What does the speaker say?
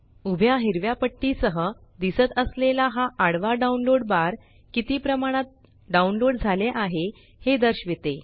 उभ्या हिरव्या पट्टी सह दिसत असलेला हा आडवा डाउनलोड बार किती प्रमाणात डाउनलोड झाले आहे हे दर्शविते